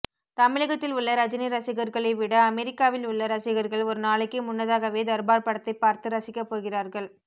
தமிழகத்தில் உள்ள ரஜினி ரசிகர்களை விட அமெரிக்காவில் உள்ள ரசிகர்கள் ஒருநாளைக்கு முன்னதாகவே தர்பார் படத்தை பார்த்து ரசிக்கப்போகிறார்கள்